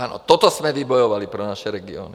Ano, toto jsme vybojovali pro naše regiony.